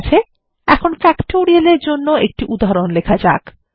ঠিক আছে এখন ফ্যাক্টোরিয়াল এর জন্য একটি উদাহরণ লেখা যাক